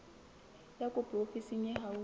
ya kopo ofising e haufi